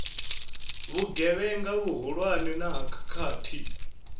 vhugevhenga vhuhulwane na ha khakhathi